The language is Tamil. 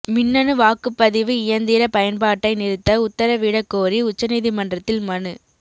மின்னணு வாக்குப்பதிவு இயந்திர பயன்பாட்டை நிறுத்த உத்தரவிடக் கோரி உச்சநீதிமன்றத்தில் மனு